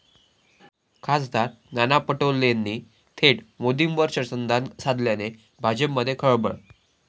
खा. नाना पटोलेंनी थेट मोदींवर शरसंधान साधल्याने भाजपमध्ये खळबळ!